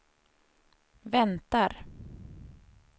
väntar